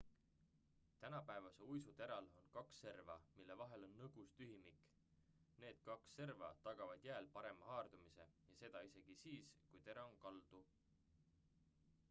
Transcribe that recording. tänapäevase uisu teral on kaks serva mille vahel on nõgus tühimik need kaks serva tagavad jääl parema haardumise ja seda isegi siis kui tera on kaldu